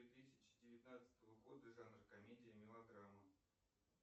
две тысячи девятнадцатого года жанр комедия мелодрама